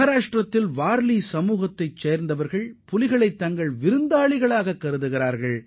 மகாராஷ்டிராவின் வார்லி இன மக்கள் புலிகளை தங்களது விருந்தினர்களாக கருதுகின்றனர்